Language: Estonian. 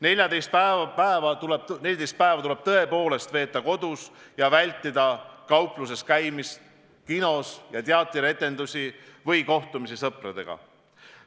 14 päeva tuleb tõepoolest veeta kodus ja vältida kaupluses, kinos ja teatris käimist ja kohtumisi sõpradega.